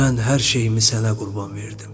Mən hər şeyimi sənə qurban verdim.